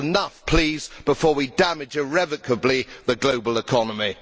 Enough please, before we damage irrevocably the global economy.